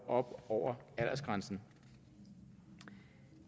op over aldersgrænsen